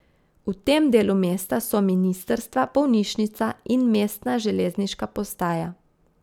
V tem delu mesta so ministrstva, bolnišnica in mestna železniška postaja.